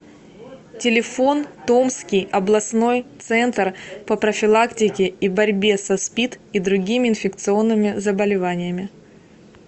телефон томский областной центр по профилактике и борьбе со спид и другими инфекционными заболеваниями